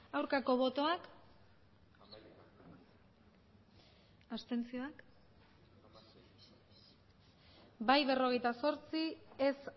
aurkako botoak abstentzioak bai berrogeita zortzi ez